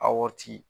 A waati